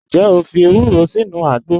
Njẹ́ o fi èwùró sínu àgbọ̀?